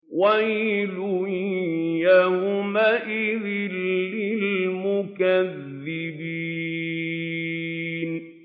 وَيْلٌ يَوْمَئِذٍ لِّلْمُكَذِّبِينَ